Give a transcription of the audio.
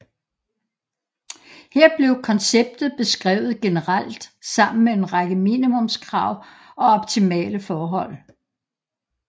Her blev konceptet beskrevet generelt sammen med en række minimumskrav og optimale forhold